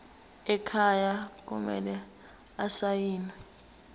ekhaya kumele asayiniwe